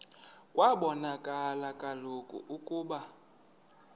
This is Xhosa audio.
kwabonakala kaloku ukuba